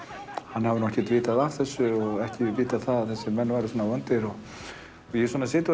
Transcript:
hann hafi ekkert vitað af þessu og ekki vitað að þessir menn væru svona vondir ég sit og